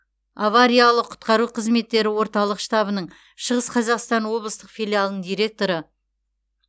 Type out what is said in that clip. авариялық құтқару қызметтері орталық штабының шығыс қазақстан облыстық филиалының директоры